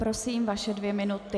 Prosím, vaše dvě minuty.